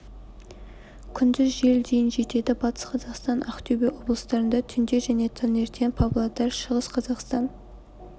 күндіз жел дейін жетеді батыс қазақстан ақтөбе облыстарында түнде және таңертең павлодар шығыс қазақстан